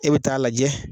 E bɛ taa lajɛ